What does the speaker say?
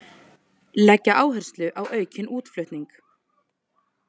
Leggja áherslu á aukinn útflutning